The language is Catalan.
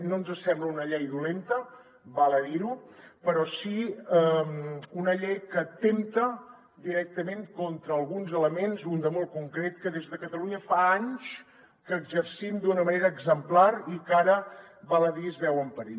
no ens sembla una llei dolenta val a dir ho però sí una llei que atempta directament contra alguns elements un de molt concret que des de catalunya fa anys que exercim d’una manera exemplar i que ara val a dir es veu en perill